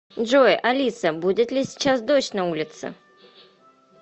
джой алиса будет ли сейчас дождь на улице